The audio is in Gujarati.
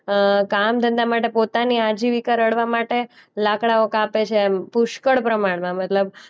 અ કામધંધા માટે પોતાની આજીવિકા રળવા માટે લાકડાઓ કાપે છે એમ પુષ્કળ પ્રમાણમાં મતલબ